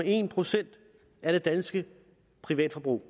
en procent af det danske privatforbrug